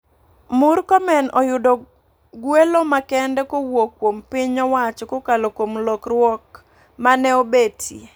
Murkomen oyudo gwelo makende kowuok kuom piny owacho kokalo kuom lokruok mane obetie.